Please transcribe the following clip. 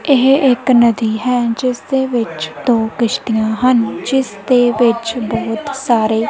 ਇਹ ਇੱਕ ਨਦੀ ਹੈ ਜਿਸਦੇ ਵਿਚ ਦੋ ਕਿਸ਼ਤੀਆਂ ਹਨ ਜਿਸਦੇ ਵਿਚ ਬਹੁਤ ਸਾਰੇ --